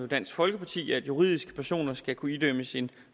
dansk folkeparti at juridiske personer skal kunne idømmes en